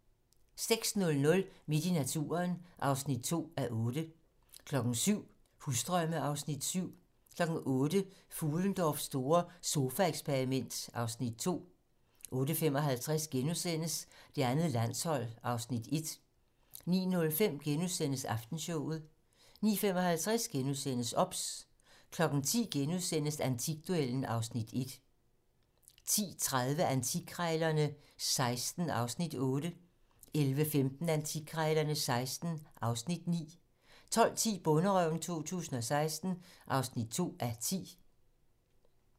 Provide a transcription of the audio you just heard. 06:00: Midt i naturen (2:8) 07:00: Husdrømme (Afs. 7) 08:00: Fuhlendorffs store sofaeksperiment (Afs. 2) 08:35: Det andet landshold (Afs. 1)* 09:05: Aftenshowet * 09:55: OBS * 10:00: Antikduellen (Afs. 1)* 10:30: Antikkrejlerne XVI (Afs. 8) 11:15: Antikkrejlerne XVI (Afs. 9) 12:10: Bonderøven 2016 (2:10)